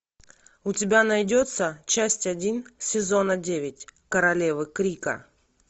у тебя найдется часть один сезона девять королевы крика